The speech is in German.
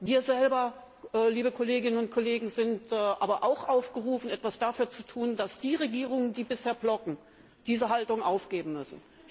Wir selber, liebe Kolleginnen und Kollegen, sind aber auch aufgerufen, etwas dafür zu tun, dass die Regierungen, die bisher blockieren, diese Haltung aufgeben müssen.